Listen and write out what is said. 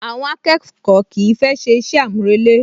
Àwọn akẹ́kọ̀ọ́ kìí fẹ́ ṣe iṣẹ́ àmúrelé